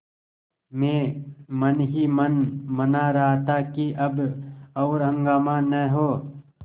मैं मन ही मन मना रहा था कि अब और हंगामा न हो